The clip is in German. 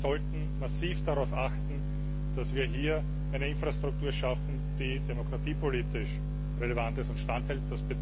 Wir sollten massiv darauf achten, dass wir hier eine Infrastruktur schaffen, die demokratiepolitisch relevant ist und standhält.